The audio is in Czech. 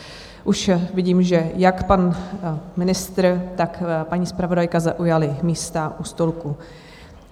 Už vidím, že jak pan ministr, tak paní zpravodajka zaujali místa u stolku.